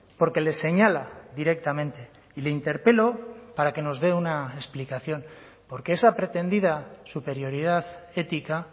porque les señala directamente y le interpelo para que nos dé una explicación porque esa pretendida superioridad ética